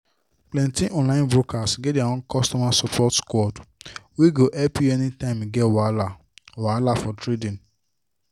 plenty online brokers get their own customer support squad wey go help you anytime you get wahala wahala for trading